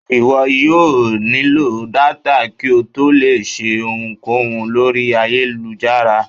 iwọ yóò nilo Data, ki o tó le lò ṣe ohúnkohún lorí ayélujára